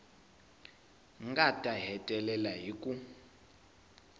nga ta hetelela hi ku